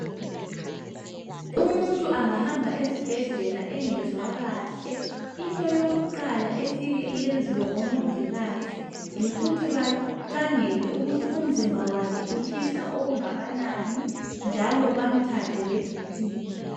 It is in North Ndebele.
Umuntu angahamba esibhedlela engezwa kahle. Into yokuqala efika iyenziwe ngomongikazi yikuthi bakhangele ukuthi umzimba wakhe utshisa okungakanani njalo bamthathe le BP.